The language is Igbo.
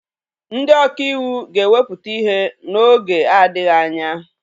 Ndị ọka iwu ga-ewepụta ihe n'oge adịghị anya